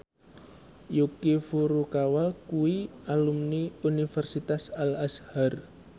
Yuki Furukawa kuwi alumni Universitas Al Azhar